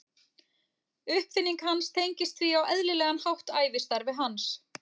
Uppfinning hans tengist því á eðlilegan hátt ævistarfi hans.